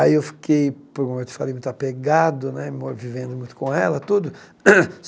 Aí eu fiquei, eu te falei, muito apegado né, vivendo muito com ela, tudo.